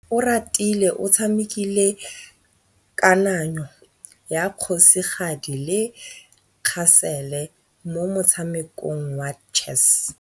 Oratile o tshamekile kananyô ya kgosigadi le khasêlê mo motshamekong wa chess.